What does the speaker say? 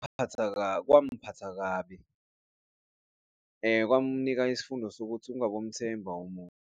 Kwangiphatha kabi, kwamunika isifundo sokuthi ungabomthemba umuntu.